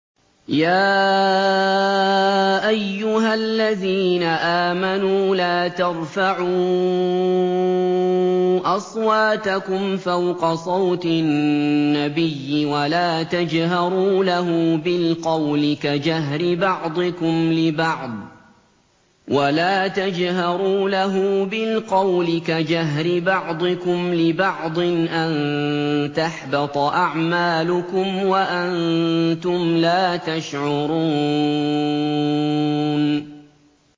يَا أَيُّهَا الَّذِينَ آمَنُوا لَا تَرْفَعُوا أَصْوَاتَكُمْ فَوْقَ صَوْتِ النَّبِيِّ وَلَا تَجْهَرُوا لَهُ بِالْقَوْلِ كَجَهْرِ بَعْضِكُمْ لِبَعْضٍ أَن تَحْبَطَ أَعْمَالُكُمْ وَأَنتُمْ لَا تَشْعُرُونَ